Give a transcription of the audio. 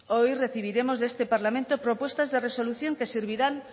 hoy recibiremos de este parlamento propuestas de resolución que servirán